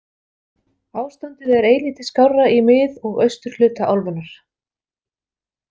Ástandið er eilítið skárra í mið- og austurhluta álfunnar.